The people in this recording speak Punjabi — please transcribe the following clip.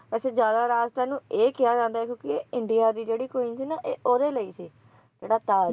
ਅੱਛਾ ਜਿਆਦਾ ਰਾਜ ਤਾਂ ਇਹਨੂੰ ਇਹ ਕਿਹਾ ਜਾਂਦਾ ਹੈ ਕਿਉਂਕਿ ਇੰਡੀਆ ਦੀ ਜਿਹੜੀ queen ਸੀ ਨਾ ਇਹ ਓਹਦੇ ਲਈ ਸੀ ਜਿਹੜਾ ਤਾਜ਼ ਹੈ